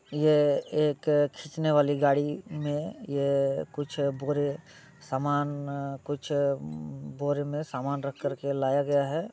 ये एक खीचने वाली गाड़ी में ये कुछ बोड़े समान कुछ बोड़े में समान लाया गया हैं।